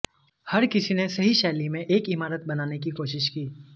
हर किसी ने सही शैली में एक इमारत बनाने की कोशिश की